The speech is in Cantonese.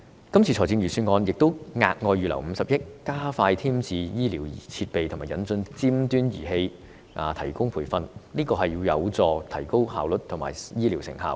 今年的預算案亦額外預留50億元，加快添置醫療設備及引進尖端儀器，以及提供培訓，這有助提高效率及醫療成效。